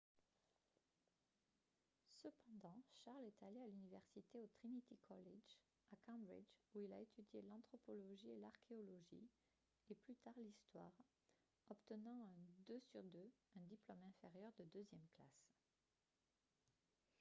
cependant charles est allé à l’université au trinity college à cambridge où il a étudié l’anthropologie et l’archéologie et plus tard l’histoire obtenant un 2:2 un diplôme inférieur de deuxième classe